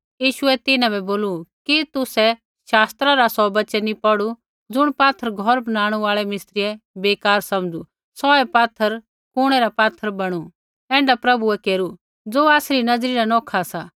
यीशुऐ तिन्हां बै बोलू कि तुसै शास्त्रा रा सौ वचन नी पौढ़ू ज़ुण पात्थर घौर बनाणु आल़ै मिस्त्रियै बेकार समझ़ू सौहै पात्थर कुणै रा पात्थर बणू ऐण्ढा प्रभुऐ केरू ज़ो आसरी नज़री न नौखा सा